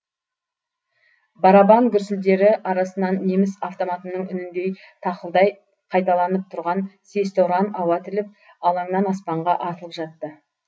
барабан гүрсілдері арасынан неміс автоматының үніндей тақылдай қайталанып тұрған сесті ұран ауа тіліп алаңнан аспанға атылып жатты